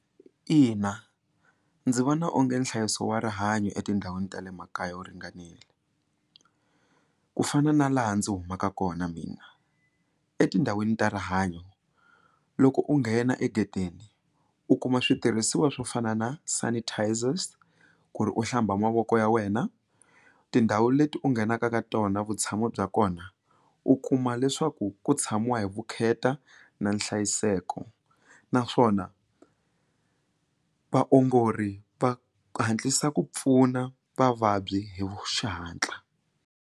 Ina, ndzi vona onge nhlayiso wa rihanyo etindhawini ta le makaya wo ringanile ku fana na laha ndzi humaka kona mina etindhawini ta rihanyo loko u nghena egedeni u kuma switirhisiwa swo fana na sanitisers ku ri u hlamba mavoko ya wena tindhawu leti u nghenaka ka tona vutshamo bya kona u kuma leswaku ku tshamiwa hi vukheta na nhlayiseko naswona vaongori va hatlisa ku pfuna vavabyi hi xihatla.